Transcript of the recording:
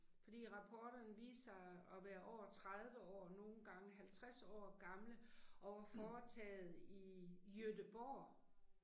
Fordi rapporterne viste sig at være over 30 år nogle gange 50 år gamle og var foretaget i Göteborg